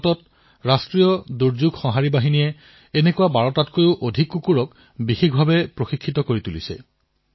ভাৰতত ৰাষ্ট্ৰীয় দুৰ্যোগ প্ৰতিক্ৰিয়া বাহিনীএনডিআৰএফে এনে ডজন কুকুৰক বিশেষভাৱে প্ৰশিক্ষিত কৰিছে